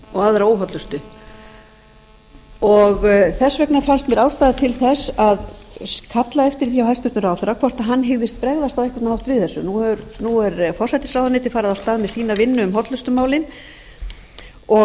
og aðra óhollustu í mötuneytunum þess vegna fannst mér ástæða til þess að kalla eftir því hjá hæstvirtum ráðherra hvort hann hyggist bregðast á einhvern hátt við þessu nú er forsætisráðuneytið farið af stað með sína vinnu um hollustumálin og